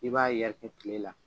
I b'a yɛrɛkɛ tile la